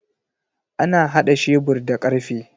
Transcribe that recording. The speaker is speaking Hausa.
Ana hada shebur da karfe.